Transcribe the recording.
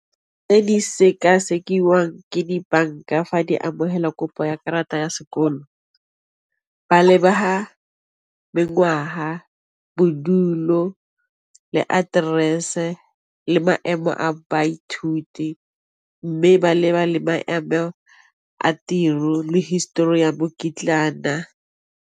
Tse di sek-sekiwa jang ke dibanka fa di abo hela kopo ya karata ya sekolo ba mengwaga, bodulo le address le maemo a baithuti mme ba leba le babo a tiro le history ya .